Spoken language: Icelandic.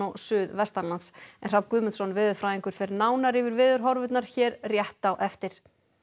suðvestanlands Hrafn Guðmundsson veðurfræðingur fer nánar yfir hér rétt á eftir